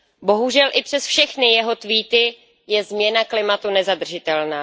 Bohužel i přes všechny jeho tweety je změna klimatu nezadržitelná.